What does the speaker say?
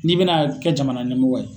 N'i bɛna kɛ jamana ɲɛmɔgɔ ye